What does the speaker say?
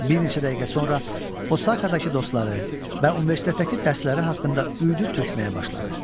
Bir neçə dəqiqə sonra Osakadakı dostları və universitetdəki dərsləri haqqında uyudub tökməyə başladı.